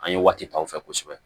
An ye waati ta u fɛ kosɛbɛ